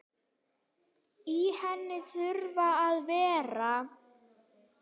Í henni þurfa að vera